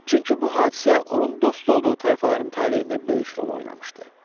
Çünki bu hadisə onun dost olduğu tayfaların taleyində böyük rol oynamışdı.